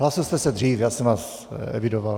Hlásil jste se dřív, já jsem vás evidoval.